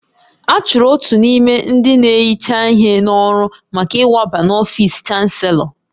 A chụrụ otu n'ime ndị na-ehicha ihe n'ọrụ maka ịwaba n'ọfisi Chanselọ